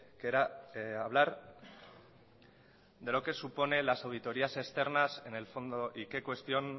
que era hablar de lo que supone las auditorías externas en el fondo